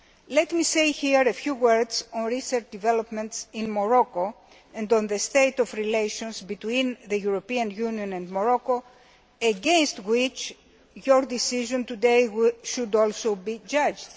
Let me say here a few words on recent developments in Morocco and on the state of relations between the European Union and Morocco, against which your decision today should also be judged.